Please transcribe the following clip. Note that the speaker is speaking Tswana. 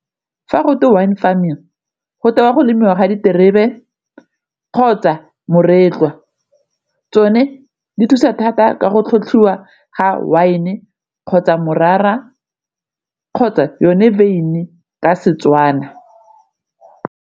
Fa go twe wine farming go tewa go lemiwa diterebe kgotsa moretlwa, tsone di thusa thata ka go tlhotlhiwa ga wine kgotsa morara kgotsa yone wyn-i ka Setswana.